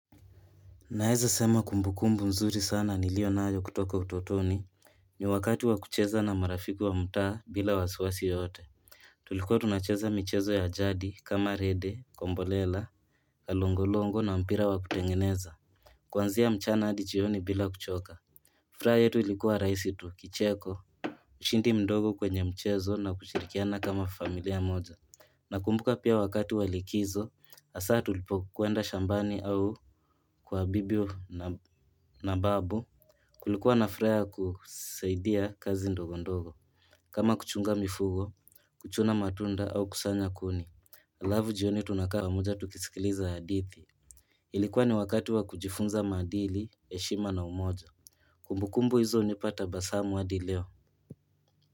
Naeza sema kumbukumbu mzuri sana nilionayo kutoka utotoni ni wakati wa kucheza na marafiki wa mutaa bila wasiwasi yoyote Tulikuwa tunacheza michezo ya jadi kama rede, kombolela, kalongolongo na mpira wa kutengeneza Kuanzia mchana adi jioni bila kuchoka furaha yetu ilikuwa raisi tu, kicheko, ushindi mdogo kwenye mchezo na kushirikiana kama familia moja Nakumbuka pia wakati wa likizo asaa tulipokwenda shambani au kwa bibi na babu Kulikuwa na furaha ya kusaidia kazi ndogo ndogo kama kuchunga mifugo kuchuna matunda au kusanya kuni Alavu jioni tunakaa pamoja tukisikiliza hadithi Ilikuwa ni wakati wa kujifunza maadili heshima na umoja Kumbukumbu hizo unipa tabasamu adi leo.